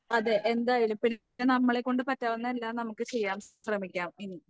അതെ എന്തായാലും പിന്നെ നമ്മളെക്കൊണ്ട് പറ്റാവുന്ന എല്ലാം നമുക്ക് ചെയ്യാൻ ശ്രമിക്കാം ഇനി